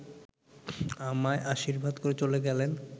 আমায় আশীর্বাদ করে চলে গেলেন